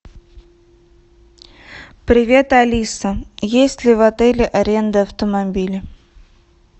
привет алиса есть ли в отеле аренда автомобиля